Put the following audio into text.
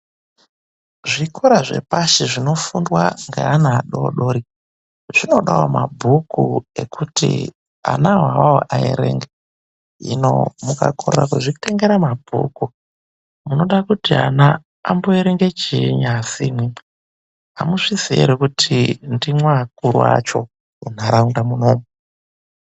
Zvikora zvepashi zvinofundwa ngevana vadodori ,zvinodawo mabhuku ekuti vana ivavo vaerenge, Hino mukakorera kuzvitengera mabhuku, vana vanozoerenga chiini.